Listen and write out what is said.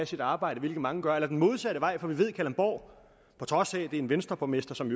sit arbejde hvilket mange gør eller den modsatte vej for vi ved at der i kalundborg på trods af at er en venstreborgmester som